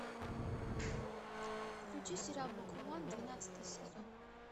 включи сериал бакуман двенадцатый сезон